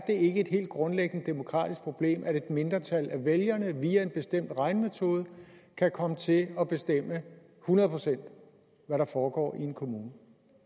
ikke et helt grundlæggende demokratisk problem at et mindretal af vælgerne via en bestemt regnemetode kan komme til at at bestemme hundrede procent hvad der foregår i en kommune